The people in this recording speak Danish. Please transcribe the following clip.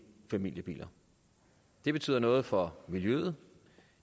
familiebiler det betyder noget for miljøet